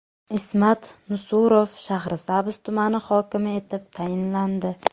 Ismat Nusurov Shahrisabz tumani hokimi etib tayinlandi.